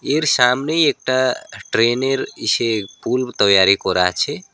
এর সামনেই একটা ট্রেনের ইসে পুল তাইয়ারি করা আছে।